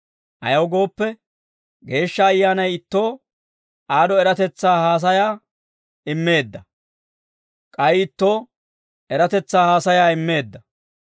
Ayaw gooppe, Geeshsha Ayyaanay ittoo aad'o eratetsaa haasayaa immeedda; k'ay ittoo eratetsaa haasayaa immeedda.